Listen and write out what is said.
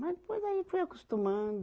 Mas depois daí fui acostumando.